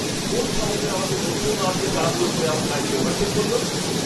কোন সাহসে আমাকে নড়তেও না দিয়ে তাড়াহুড়ো করে আমার গাড়িকে ওভারটেক করল?